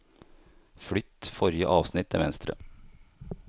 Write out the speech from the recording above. Flytt forrige avsnitt til venstre